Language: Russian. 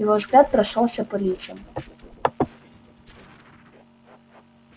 его взгляд прошёлся по лицам